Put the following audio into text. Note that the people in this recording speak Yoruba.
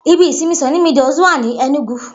Ibi ìsinmi Sunny Meadows wa ní Ẹnúgu